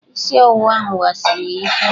Isị ọwụwa ahụ wasiri ya ike.